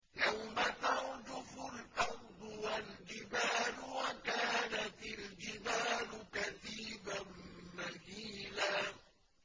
يَوْمَ تَرْجُفُ الْأَرْضُ وَالْجِبَالُ وَكَانَتِ الْجِبَالُ كَثِيبًا مَّهِيلًا